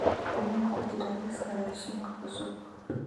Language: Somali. qalin ku jira liiska raashinka cusub